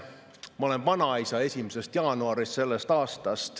Ma olen selle aasta 1. jaanuarist vanaisa.